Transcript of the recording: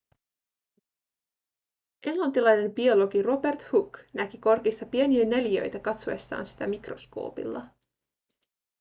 englantilainen biologi robert hooke näki korkissa pieniä neliöitä katsoessaan sitä mikroskoopilla